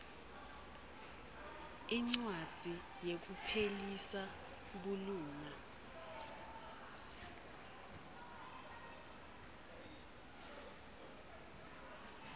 incwadzi yekuphelisa bulunga